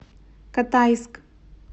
катайск